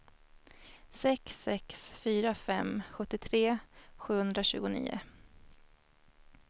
sex sex fyra fem sjuttiotre sjuhundratjugonio